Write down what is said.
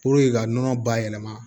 ka nɔnɔ bayɛlɛma